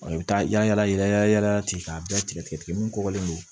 I bɛ taa yala yala tigɛ ka bɛɛ tigɛ tigɛ tigɛ min kɔkɔlen don